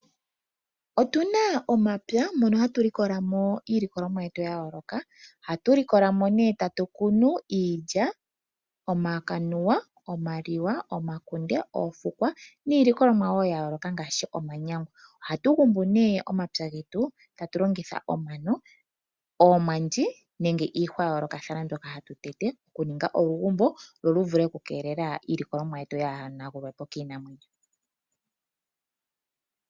Otuna omapya mono hatu likolamo iilikolomwa yetu ya yooloka. Ohatu likolamo nee tatukunu iilya ,omakanuwa, omaliwa, omakunde ,oofukwa niilikolomwa woo ya yooloka ngaashi omanyangwa. Ohatu gumbu nee omapya getu tatu longitha omano ,oomwandi nenge iihwa ya yoolokathana mbyoka hatu tete okuninga olugumbo lwo livule oku keelela iilikolomwa yetu kayi hanagulwepo kiinamwenyo